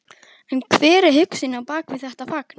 En hver er hugsunin á bak við þetta fagn?